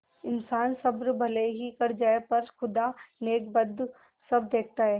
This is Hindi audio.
इन्सान सब्र भले ही कर जाय पर खुदा नेकबद सब देखता है